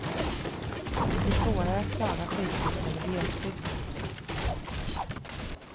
Det blir svårare att klara sjukhusen i glesbygden.